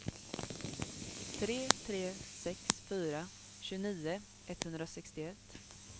tre tre sex fyra tjugonio etthundrasextioett